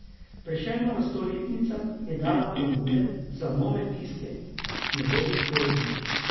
Prešernova stoletnica je dala pobude za nove tiske njegovih poezij.